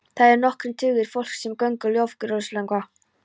Þar voru nokkrir tugir fólks sem söng lofgjörðarsöngva.